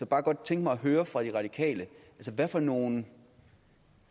bare godt tænke mig at høre fra de radikale hvad for nogle